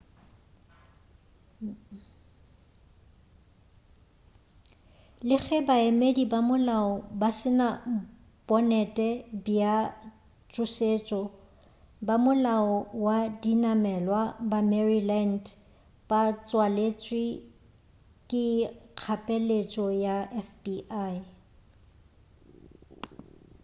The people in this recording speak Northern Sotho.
le ge baemedi ba molao ba se na bonnet bja tšhošetšo ba molao wa dinamelwa ba maryland ba tswaletše ka kgapeletšo ya fbi